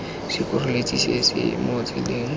sekgoreletsi se se mo tseleng